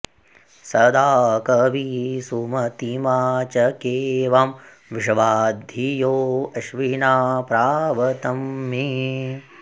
सदा॑ कवी सुम॒तिमा च॑के वां॒ विश्वा॒ धियो॑ अश्विना॒ प्राव॑तं मे